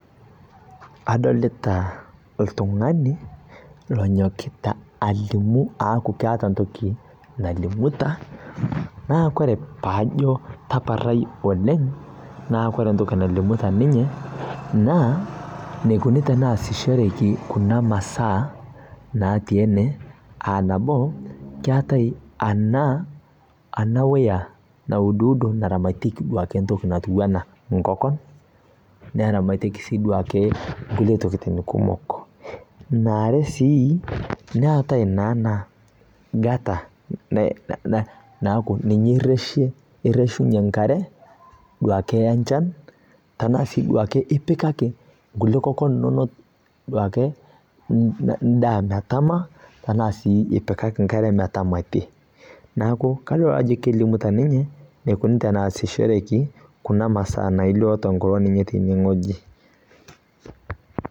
Adolita oltung'ani lonyokita alimu, aaku keeta entoki nalimuta naa kore paajo tapatai oleng naa ore entoki nalimuta ninye naa eneikuni teneesishoreki kuna masaa naatii ene aa nabo keetae anaa ena weya nauduudo naramatieki duoke entoki natiu enaa enkoko, naramatieki sii duake nkulie tokiting kumok. Ene are sii, netae naa ena gutter naaku ninye irreshie, ninye irreshunye enkare duake enchan ipikaki inkokon enaa sii duake ipikaki inkokon endaa metaama enaa sii ipikaki enkare namatie. Neeku kadol naa ajo kelimuta ninye enaikuni teneesishoreki kuna masaa nailo tenkopang ninye tenewueji